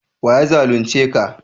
wa ya zalunce ka?